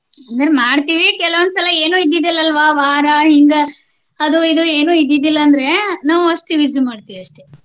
ಮಾಡ್ತೇವಿ ಕೆಲವೊಂದ ಸಲ ಏನು ಇದ್ದಿದ್ದಿಲ್ಲ ಅಲ್ವ ವಾರ ಹಿಂಗ ಅದು ಇದು ಏನು ಇದ್ದಿದ್ದಿಲ್ಲಾ ಅಂದ್ರೆ ನಾವು ಅಷ್ಟು use ಮಾಡ್ತೇವಷ್ಟೆ.